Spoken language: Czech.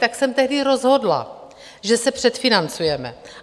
Tak jsem tehdy rozhodla, že se předfinancujeme.